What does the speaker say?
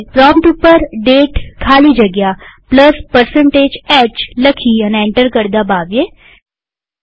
prompt ઉપર દાતે ખાલી જગ્યા h લખી અને એન્ટર કળ દબાવીએ